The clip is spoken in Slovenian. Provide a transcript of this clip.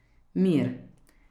Mir.